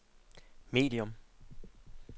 medium